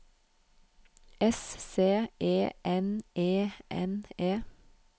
S C E N E N E